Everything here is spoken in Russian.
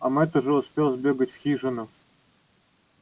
а мэтт уже успел сбегать в хижину